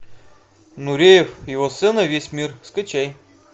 нуреев его сцена весь мир скачай